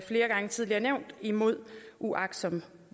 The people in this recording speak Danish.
flere gange tidligere nævnt imod uagtsom